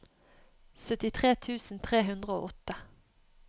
syttitre tusen tre hundre og åtte